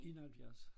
71